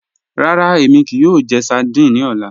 Ràrà, èmi kíí yòò jẹ̀ sárdínè ní ọlá.